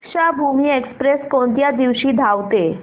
Deekshabhoomi express कोणत्या दिवशी धावते